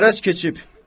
Qərəz keçib.